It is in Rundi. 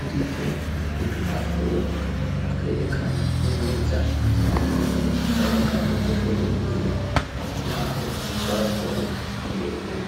uriko udupapuro twerekana neza aho bwiherero bw'abagabo buherereye, naho ubwo abagore uherereye.